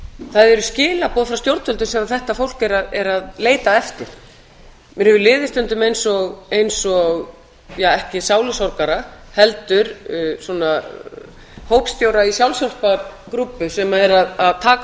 það eru skilaboð frá stjórnvöldum sem þetta fólk er að leita eftir mér hefur liðið stundum eins og ja ekki sálusorgara heldur svona hópstjóra í sjálfshjálpargrúppu sem er að taka á